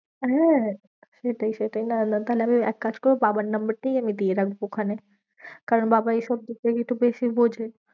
হ্যাঁ সেটাই সেটাই না না তাহলে এক কাজ করবো বাবার number টাই আমি দিয়ে রাখবো ওখানে। কারণ বাবা এই সব দিকটা একটু বেশি বোঝে।